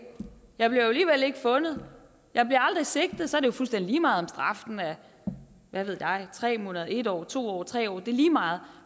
fundet jeg bliver aldrig sigtet så er det jo fuldstændig lige meget om straffen er hvad ved jeg tre måneder en år to år tre år det er lige meget